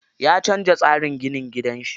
Ya canza tsarin ginin gidan shi.